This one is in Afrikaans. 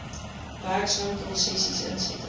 werkswinkel sessies insette